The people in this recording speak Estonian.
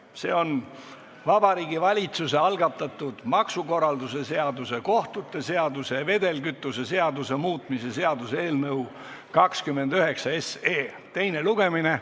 See on Vabariigi Valitsuse algatatud maksukorralduse seaduse, kohtute seaduse ja vedelkütuse seaduse muutmise seaduse eelnõu 29 teine lugemine.